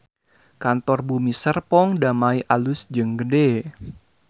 Kantor Bumi Serpong Damai alus jeung gede